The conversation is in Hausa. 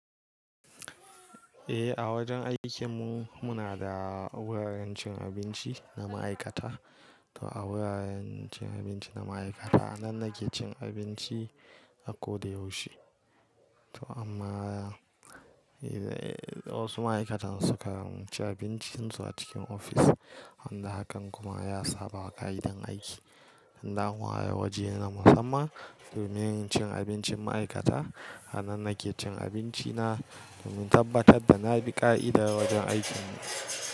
Eh, a wajen aikinmu, muna da wuraren cin abinci na ma'aikata. Toh a wuraren cin abinci na ma'aikata nan nake cin abinci a ko da yaushe. Toh amma, eh, wasu ma'aikatan suka ci abincin su a cikin ofis, wanda hakan kuma ya saba ƙa'idan aiki. Dan an ware waje na musamman domin cin abincin ma'aikata. A nan nake cin abinci na domin tabbatar da na bi ƙa'idar wajen aikin mu.